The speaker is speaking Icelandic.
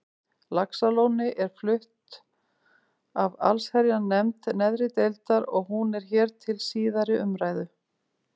Laxalóni er flutt af allsherjarnefnd neðri deildar og hún er hér til síðari umræðu.